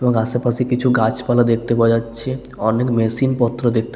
এবং আশেপাশে কিছু গাছপালা দেখতে পাওয়া যাচ্ছে অনেক মেশিন পত্র দেখ--